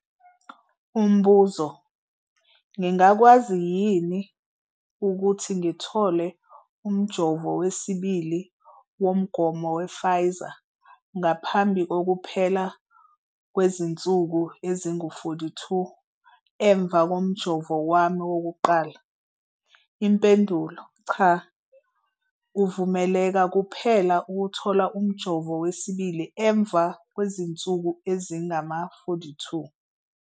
Umbuzo- Ngingakwazi yini ukuthi ngithole umjovo wesibili womgomo wePfizer ngaphambi kokuphela kw zinsuku ezingu-42 emva komjovo wami wokuqala? Impendulo- Cha. Uvumeleka kuphela ukuthola umjovo wesibili emva kwezinsuku ezingama-42.